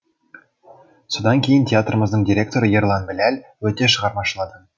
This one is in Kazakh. содан кейін театрымыздың директоры ерлан біләл өте шығармашыл адам